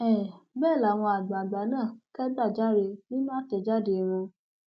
um bẹẹ làwọn àgbàgbà náà kẹgbajàre nínú àtẹjáde wọn